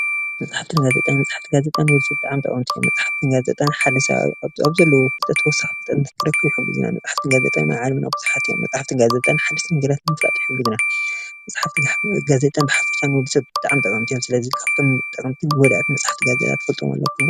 መፅሓፍትን ጋዜጣን መፅሓፍትን ጋዜጣን ንወድሰብ ብጣዕሚ ጠቐምቲ ኾይኖም መፅሓፍትን ጋዜጣን ሓደ ሰብ ኣብ ዘለዎ ፍልጠት ተወሳኺ ፍልጠት ንኽረክብ ይሕግዙና፡፡ መፅሓፍትን ጋዜጣን ኣብ ዓለምና ቡዙሓት እዮም፡፡ መፅሓፍትን ጋዜጣን ሓደስቲ ነገራት ንምፍላጥ ይሕግዙና፡፡ መፅሓፍትን ጋዜጣን ብሓፈሻ ንወድሰብ ብጣዕሚ ጠቐምቲ እዮም፡፡ ስለዚ ካብቶም ጠቐምትን ጎዳእትን መፅሓፍትን ጋዜጣን ትፈልጥዎም ኣለኩም ዶ?